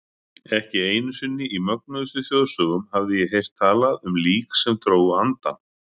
Ekki einu sinni í mögnuðustu þjóðsögum hafði ég heyrt talað um lík sem drógu andann.